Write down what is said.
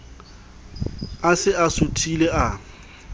a se a suthile a